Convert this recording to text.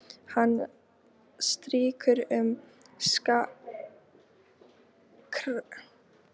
Hann strýkur um kragaskeggið, augun barmafull af gleði og þakklæti.